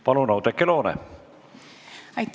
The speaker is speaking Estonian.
Palun, Oudekki Loone!